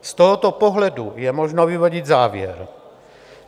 Z tohoto pohledu je možno vyvodit závěr.